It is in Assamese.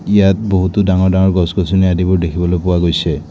ইয়াত বহুতো ডাঙৰ ডাঙৰ গছ-গছনি আদিবোৰ দেখিবলৈ পোৱা গৈছে।